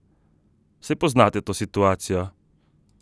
Saj poznate to situacijo?